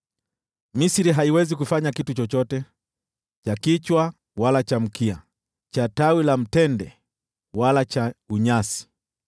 Misri haiwezi kufanya kitu chochote, cha kichwa wala cha mkia, cha tawi la mtende wala cha tete.